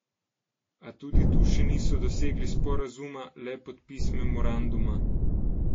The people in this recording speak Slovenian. A tudi tu še niso dosegli sporazuma, le podpis memoranduma.